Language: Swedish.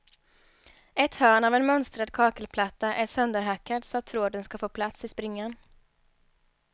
Ett hörn av en mönstrad kakelplatta är sönderhackad så att tråden ska få plats i springan.